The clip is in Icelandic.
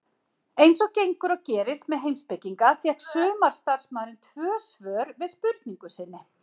Eins og gengur og gerist með heimspekinga fékk sumarstarfsmaðurinn tvö svör við spurningu sinni.